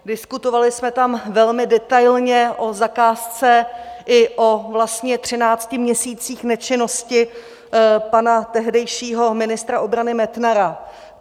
Diskutovali jsme tam velmi detailně o zakázce i o vlastně třinácti měsících nečinnosti pana tehdejšího ministra obrany Metnara.